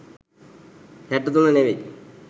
හැටතුන ‍නෙවෙයි